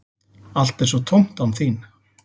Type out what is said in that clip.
Allt er svo tómt án þín.